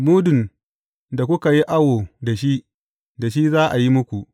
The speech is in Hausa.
Mudun da kuka yi awo da shi, da shi za a yi muku.